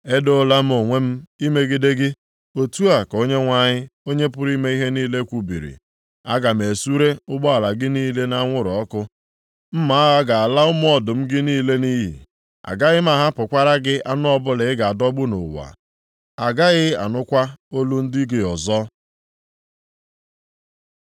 “Edoola m onwe m imegide gị,” otu a ka Onyenwe anyị, Onye pụrụ ime ihe niile kwubiri, “Aga m esure ụgbọala gị niile nʼanwụrụ ọkụ, mma agha ga-ala ụmụ ọdụm gị niile nʼiyi. Agaghị m ahapụkwara gị anụ ọbụla ị ga-adọgbu nʼụwa. A gaghị anụkwa olu ndị ozi gị ọzọ.”